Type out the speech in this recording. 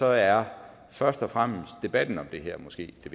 er først og fremmest debatten om det her måske det